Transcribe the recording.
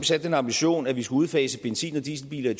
sat den ambition at vi skal udfase benzin og dieselbiler i